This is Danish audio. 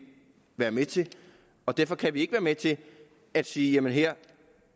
være med til og derfor kan vi ikke være med til at sige at man her